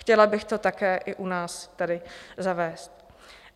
Chtěla bych to také i u nás tady zavést.